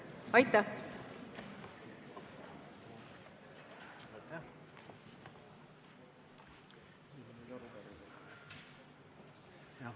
Aitäh!